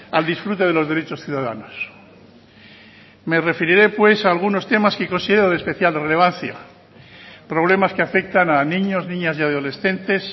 al disfrute de los derechos ciudadanos me referiré pues a algunos temas que considero de especial relevancia problemas que afectan a niños niñas y adolescentes